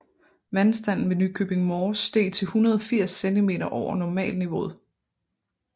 Vandstanden ved Nykøbing Mors steg til 180 cm over normalniveauet